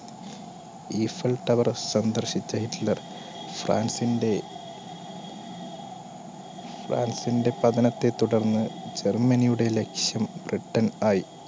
eiffel tower സന്ദർശിച്ച Hitler ഫ്രാൻസിന്റെ ഫ്രാൻസിന്റെ പതനത്തെ തുടർന്ന് ജർമ്മനിയുടെ ലക്ഷ്യം ബ്രിട്ടൻ ആയി